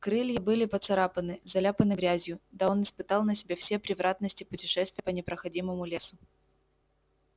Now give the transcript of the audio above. крылья были поцарапаны заляпаны грязью да он испытал на себе все превратности путешествия по непроходимому лесу